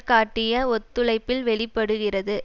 காட்டிய ஒத்துழைப்பில் வெளி படுகிறது